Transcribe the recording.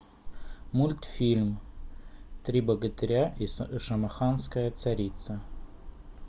мультфильм три богатыря и шамаханская царица